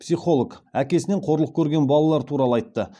психолог әкесінен қорлық көрген балалар туралы айтты